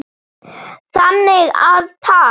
Þannig að takk.